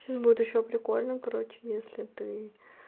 сейчас будет ещё прикольно короче если ты